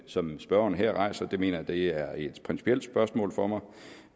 som spørgeren her rejser det mener jeg og det er et principielt spørgsmål for mig